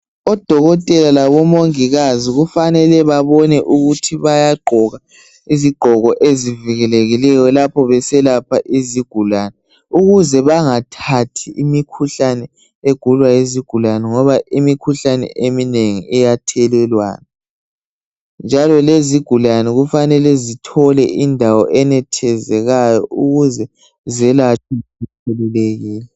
Odokotela labomongikazi kufanele babone ukuthi bayagqoka izigqoko ezivikelekileyo lapho beselapha izigulani. Ukuze bangathathi imikhuhlane egulwa yizigulani ngoba imikhuhlane eminengi iyathelelwana. Njalo lezigulane kufanele zithole indawo enethezekayo ukuze zela zikhululekile.